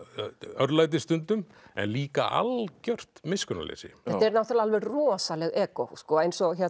örlæti stundum en líka algjört miskunnarleysi þetta eru náttúrulega alveg rosaleg egó eins og